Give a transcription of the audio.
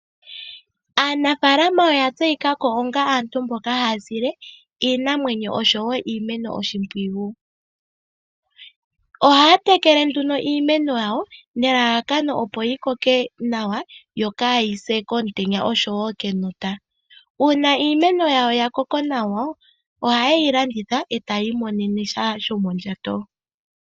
Aanafaalama oya tseyika ko onga aantu mboka haya sile iinamwenyo osho wo iimeno oshimpwiyu. Ohaya tekele nduno iimeno yawo nelalakano, opo yi koke nawa yo kaayi se komutenya oshowo kenota. Uuna iimeno yawo ya koko nawa, ohaye yi landitha e ta ya imonene sha shomondjato.